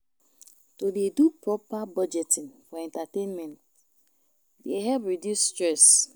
To dey do proper budgeting for entertainment dey help reduce stress.